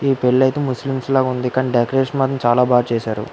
ఈ పెళ్లయితే ముస్లిమ్స్ లాగా ఉంది కానీ డెకరేషన్ అయితే చాలా బాగా చేశారు.